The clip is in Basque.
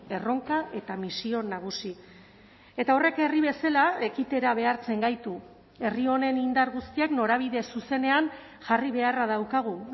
erronka eta misio nagusi eta horrek herri bezala ekitera behartzen gaitu herri honen indar guztiak norabide zuzenean jarri beharra daukagu